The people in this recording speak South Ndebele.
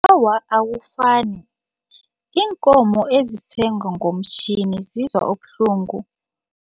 Awa, akufani. Iinkomo ezisengwa ngomtjhini zizwa ubuhlungu.